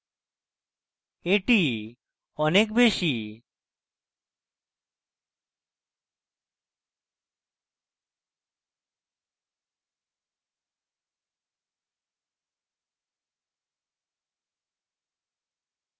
এটি অনেক বেশী